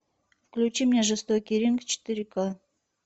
включи мне жестокий ринг четыре ка